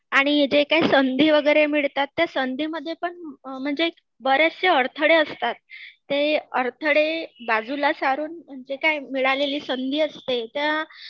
आणि जे काही संधी वगैरे मिळतात त्या संधीमध्ये पण